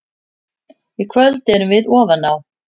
Í kvöld erum við ofan á.